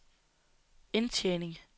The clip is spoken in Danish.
indtjening